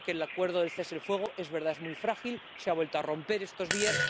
Yo creo que el acuerdo de cese el fuego es muy frágil, se ha vuelto a romper estos días